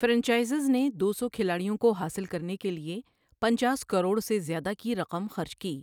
Franchises نے دو سو کھلاڑیوں کو حاصل کرنے کے لیے پنچاس کروڑ سے زیادہ کی رقم خرچ کی۔